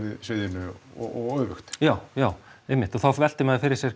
sviðinu og öfugt já já einmitt og þá veltir maður fyrir sér